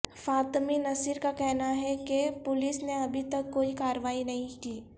فاطمی نصیر کا کہنا ہے کہ پولیس نے ابھی تک کوئی کارروائی نہیں کی